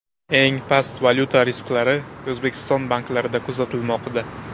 Eng past valyuta risklari O‘zbekiston banklarida kuzatilmoqda.